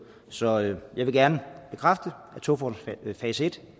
så jeg vil gerne bekræfte at togfonden dks fase